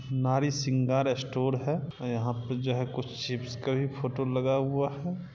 नारी शृंगार स्टोर हैं यहा पे जो है कुछ चिप्स का भी फोटो लगा हुवा हैं।